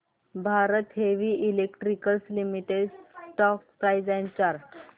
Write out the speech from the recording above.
Bharat heavy electricals limited stock price and chart